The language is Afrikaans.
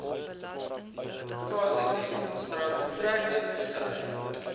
kzn strand treknetvissery